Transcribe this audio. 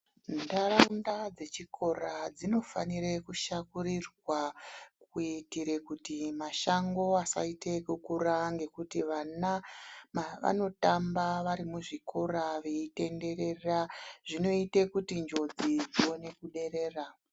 Ndaraunda dzechikora dzinofanire kushakurirwa kuitire kuti mashango asaite okukura ngokuti vana mavanotamba vari muzvikora veyitenderera zvinoite kuti njodzi dzione kuderera.